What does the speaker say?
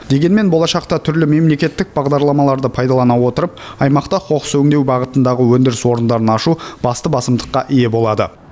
дегенмен болашақта түрлі мемлекеттік бағдарламаларды пайдалана отырып аймақта қоқыс өңдеу бағытындағы өндіріс орындарын ашу басты басымдыққа ие болады